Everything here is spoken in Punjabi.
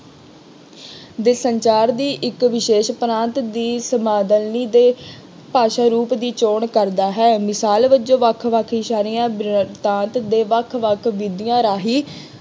ਦੇ ਸੰਚਾਰ ਵੀ ਇੱਕ ਵਿਸ਼ੇਸ਼ ਉਪਰਾਂਤ ਦੀ ਦੇ ਭਾਸ਼ਾ ਰੂਪ ਦੀ ਚੋਣ ਕਰਦਾ ਹੈ। ਮਿਸਾਲ ਵਜੋਂ ਵੱਖ ਵੱਖ ਸ਼ਹਿਰੀਆਂ ਵਿਰਤਾਂਤ ਦੇ ਵੱਖ ਵੱਖ ਬੀਬੀਆਂ ਰਾਹੀਂ